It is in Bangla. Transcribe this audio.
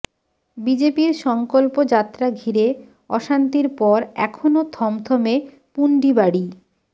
বিজেপির সংকল্প যাত্রা ঘিরে অশান্তির পর এখনও থমথমে পুন্ডিবাড়ি